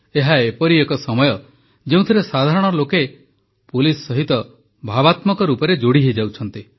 ଏହା ଏପରି ଏକ ସମୟ ଯେଉଁଥିରେ ସାଧାରଣ ଲୋକେ ପୁଲିସ ସହିତ ଭାବାତ୍ମକ ରୂପରେ ଯୋଡ଼ି ହୋଇଯାଉଛନ୍ତି